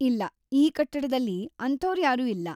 ಇಲ್ಲ, ಈ ಕಟ್ಟಡದಲ್ಲಿ ಅಂಥೋರ್ಯಾರೂ ಇಲ್ಲ.